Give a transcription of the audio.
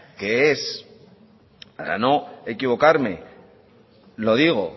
que es para no equivocarme lo digo